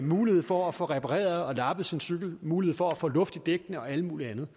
mulighed for at få repareret og lappet sin cykel mulighed for at få luft i dækkene og alt muligt andet